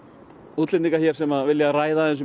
útlendinga sem vilja ræða